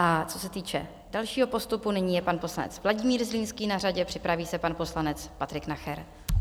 A co se týče dalšího postupu, nyní je pan poslanec Vladimír Zlínský na řadě, připraví se pan poslanec Patrik Nacher.